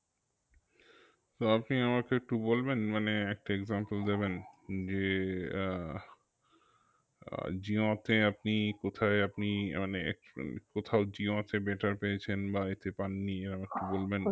তো আপনি আমাকে একটু বলবেন মানে একটা example দেবেন যে আহ আহ জিওতে আপনি কোথায় আপনি আহ মানে কোথাও জিও আছে better পেয়েছেন বা এতে পাননি এরম একটু বলবেন